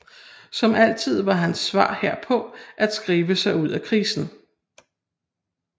Som altid var hans svar herpå at skrive sig ud af krisen